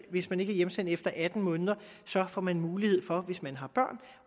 hvis man ikke er hjemsendt efter atten måneder får man mulighed for hvis man har børn